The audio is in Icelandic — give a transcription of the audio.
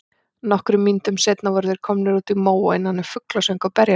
Nokkrum mínútum seinna voru þeir komnir út í móa innan um fuglasöng og berjalyng.